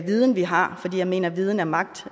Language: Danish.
viden vi har for jeg mener at viden er magt